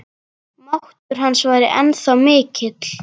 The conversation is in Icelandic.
Máttur hans væri ennþá mikill.